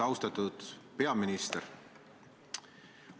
Austatud peaminister!